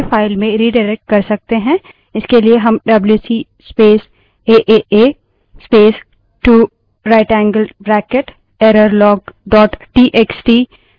इसके लिए हम WC space aaa aaa aaa space 2 rightएंगल्ड bracket errorlog dot TXT wc space aaa space 2 rightanged bracket errorlog txt command दे सकते हैं